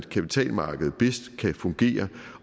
kapitalmarkedet bedst kan fungere